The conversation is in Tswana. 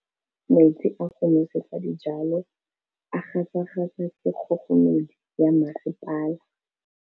Metsi a go nosetsa dijalo a gasa gasa ke kgogomedi ya masepala.